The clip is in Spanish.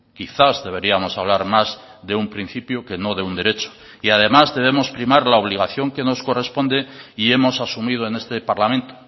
quizás deberíamos hablar más de un principio que no de un derecho y además debemos primar la obligación que nos corresponde y hemos asumido en este parlamento